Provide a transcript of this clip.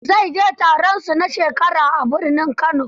Zai je taronsu na shekara a birnin Kano.